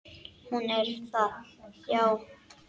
Hún er það, já.